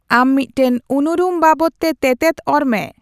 ᱟᱢ ᱢᱤᱫᱴᱟᱝ ᱩᱱᱩᱨᱩᱢ ᱵᱟᱵᱚᱫᱛᱮ ᱛᱮᱛᱮᱫ ᱚᱨ ᱢᱮ